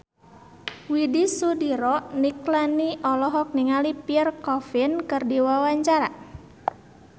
Widy Soediro Nichlany olohok ningali Pierre Coffin keur diwawancara